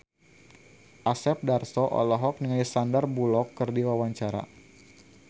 Asep Darso olohok ningali Sandar Bullock keur diwawancara